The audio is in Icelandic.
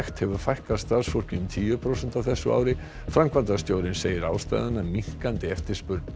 hefur fækkað starfsfólki um tíu prósent á þessu ári framkvæmdastjórinn segir ástæðuna minnkandi eftirspurn